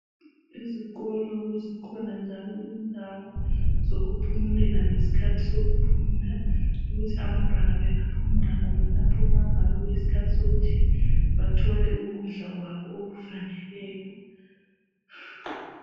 Izikolo zikhona njalo indawo zokuphumulela ngesikhathi sokuphumula ukuthi abantwana bengaphumula khona lapho nxa kuyisikhathi sokuthi bathole ukudla kwabo okufaneleyo.